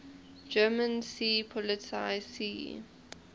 german seepolizei sea